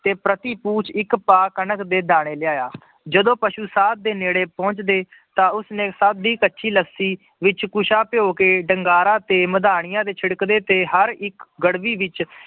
ਤੇ ਪ੍ਰਤੀ ਕੂਚ ਇੱਕ ਭਾਅ ਕਣਕ ਦੇ ਦਾਣੇ ਲਿਆਇਆ, ਜਦੋਂ ਪਸੂ ਸਾਧ ਦੇ ਨੇੜੇ ਪਹੁੰਚਦੇ ਤਾਂ ਉਸਨੇ ਸਭ ਦੀ ਕੱਚੀ ਲੱਸੀ ਵਿੱਚ ਕੁਸ਼ਾ ਭਿਓਂ ਕੇ ਡੰਗਾਰਾਂ ਤੇ ਮਦਾਣੀਆਂ ਤੇੇ ਛਿੜਕਦੇ ਤੇ ਹਰ ਇੱਕ ਗੜਬੀ ਵਿੱਚ